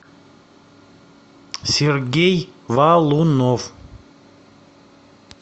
сергей валунов